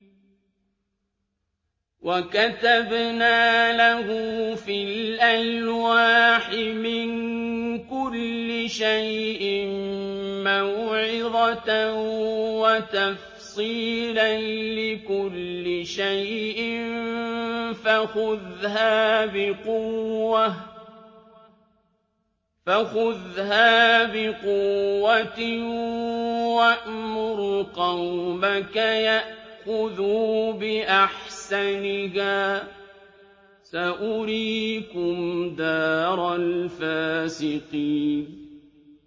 وَكَتَبْنَا لَهُ فِي الْأَلْوَاحِ مِن كُلِّ شَيْءٍ مَّوْعِظَةً وَتَفْصِيلًا لِّكُلِّ شَيْءٍ فَخُذْهَا بِقُوَّةٍ وَأْمُرْ قَوْمَكَ يَأْخُذُوا بِأَحْسَنِهَا ۚ سَأُرِيكُمْ دَارَ الْفَاسِقِينَ